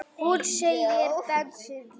Hún segir dansinn lífið.